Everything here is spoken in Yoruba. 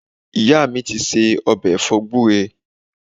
Ìyá mi ti ṣe ọ̀bẹ̀ ẹ̀fọ́ gúre